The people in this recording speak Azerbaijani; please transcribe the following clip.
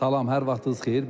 Salam, hər vaxtınız xeyir.